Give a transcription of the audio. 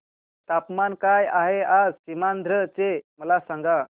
तापमान काय आहे आज सीमांध्र चे मला सांगा